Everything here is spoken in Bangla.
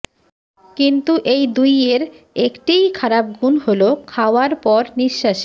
কিন্তু এই দুইয়ের একটিই খারাপ গুণ হল খাওয়ার পর নিঃশ্বাসে